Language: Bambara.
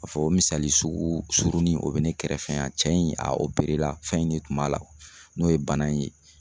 A fɔ o misali sugu surunin o bi ne kɛrɛfɛ yan cɛ in a la fɛn in de tun b'a la n'o ye bana in ye